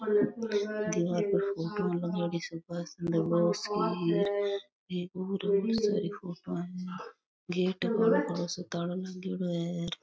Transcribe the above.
दिवारा पे फोटो लागेडी से एक और --